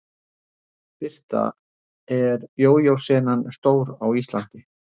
Birta: Er jójó senan stór á Íslandi?